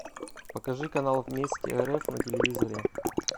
покажи канал вместе рф на телевизоре